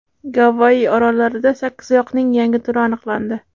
Gavayi orollarida sakkizoyoqning yangi turi aniqlandi .